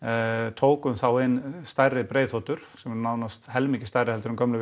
tókum þá inn stærri breiðþotur sem eru nánast helmingi stærri en gömlu